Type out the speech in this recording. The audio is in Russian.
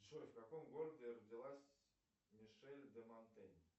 джой в каком городе родилась мишель де монтень